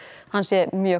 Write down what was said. hann sé mjög